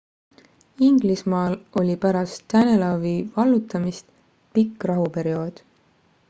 inglismaal oli pärast danelawi vallutamist pikk rahuperiood